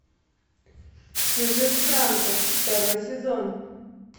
чужестранка второй сезон